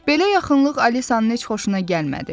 Belə yaxınlıq Alisanın heç xoşuna gəlmədi.